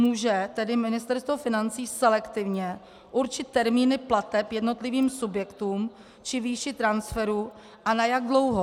Může tedy Ministerstvo financí selektivně určit termíny plateb jednotlivým subjektům či výši transferů a na jak dlouho?